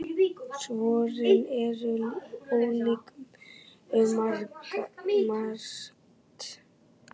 Svörin eru ólík um margt.